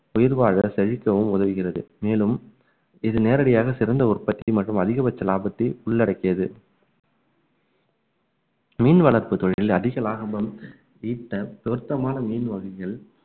உயிர் வாழ செழிக்கவும் உதவுகிறது மேலும் இது நேரடியாக சிறந்த உற்பத்தி மற்றும் அதிகபட்ச லாபத்தை உள்ளடக்கியது மீன் வளர்ப்பு தொழிலில் அதிக லாபமும் ஈட்ட பொருத்தமான மீன் வகைகள்